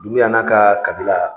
Dumuya n'a ka kabila